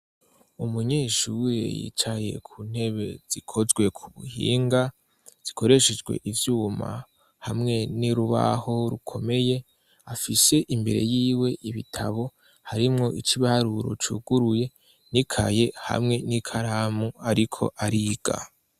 Umunyeshure yicaye ku ntebe zikozwe ku buhinga, zikoreshejwe ivyuma hamwe n'urubaho rukomeye, afise imbere y'iwe ibitabo harimwo ic'ibaruro cuguruye n'ikaye hamwe n'ikaramu ariko ariga.